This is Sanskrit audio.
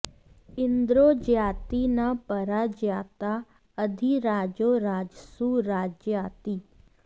इंद्रो॑ जयाति॒ न परा॑ जयाता अधिरा॒जो राज॑सु राजयाति